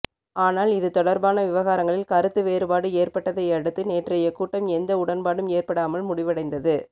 ஆனால் இது தொடர்பான விவகாரங்களில் கருத்து வேறுபாடு ஏற்பட்டதையடுத்து நேற்றைய கூட்டம் எந்த உடன்பாடும் எற்படாமல் முடிவடைந்தது